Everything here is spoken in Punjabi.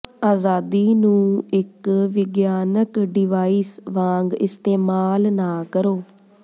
ਆਜ਼ਾਦੀ ਨੂੰ ਇੱਕ ਵਿਗਿਆਨਕ ਡਿਵਾਈਸ ਵਾਂਗ ਇਸਤੇਮਾਲ ਨਾ ਕਰੋ